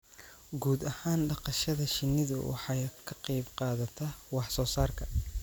Guud ahaan dhaqashada shinnidu waxay ka qayb qaadataa wax soo saarka